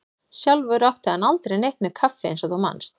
Sjálfur átti hann aldrei neitt með kaffi eins og þú manst.